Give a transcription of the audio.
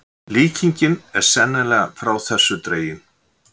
Líkingin er sennilega frá þessu dregin.